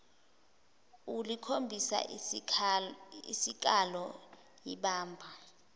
ulikhombisa isikalo ibamba